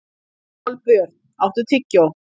Kolbjörn, áttu tyggjó?